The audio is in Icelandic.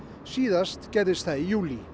síðast gerðist það í júlí